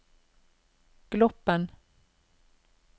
Gloppen